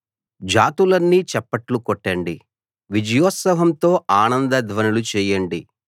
జాతులన్నీ చప్పట్లు కొట్టండి విజయోత్సాహంతో ఆనంద ధ్వనులు చేయండి